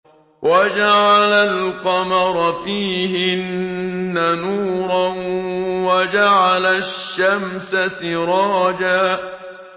وَجَعَلَ الْقَمَرَ فِيهِنَّ نُورًا وَجَعَلَ الشَّمْسَ سِرَاجًا